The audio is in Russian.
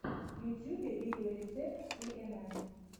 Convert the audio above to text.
в ютьюбе видеорецепт си эн эн